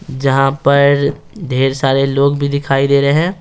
जहाँ पर ढेर सारे लोग भी दिखाई दे रहे हैं।